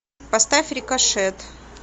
поставь рикошет